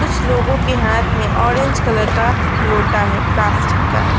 कुछ लोगों की हाथ में ऑरेंज कलर का लोटा है प्लास्टिक का।